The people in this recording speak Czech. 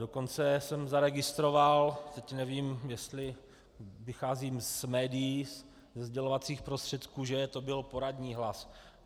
Dokonce jsem zaregistroval, teď nevím, jestli vycházím z médií, ze sdělovacích prostředků, že to byl poradní hlas.